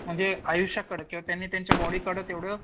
म्हणजे आयुष्याकडं किंवा त्यांनी त्यांच्या बॉडीकडं